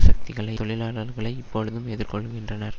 சக்திகளை தொழிலாளர்களை இப்பொழுதும் எதிர்கொள்ளுகின்றனர்